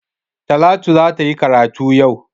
Talatu za ta yi karatu yau.